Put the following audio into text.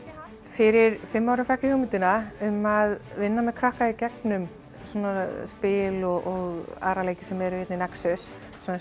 fyrir fimm árum fékk ég hugmyndina um að vinna með krökkum í gegnum svona spil og aðra leiki sem eru hér í nexus svona